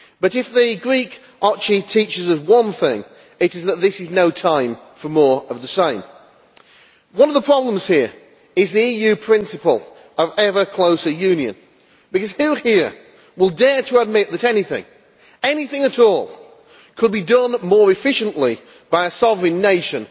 If the Greek teaches us one thing, it is that this is no time for more of the same. One of the problems here is the EU principle of ever closer union, because who here will dare to admit that anything, anything at all, could be done more efficiently by a sovereign nation